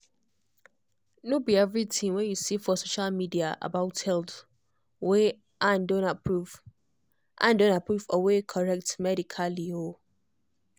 no be everything wey you see for social media about health wey ann don approve ann don approve or wey correct medically.